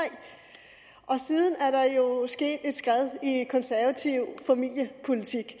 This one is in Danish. siden er der jo sket et skred i konservativ familiepolitik